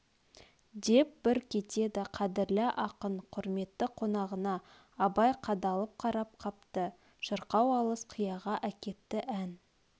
деп бір кетеді қадірлі ақын құрметті қонағына абай қадалып қарап қапты шырқау алыс қияға әкетті ән